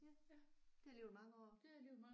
Ja. Det er alligevel mange år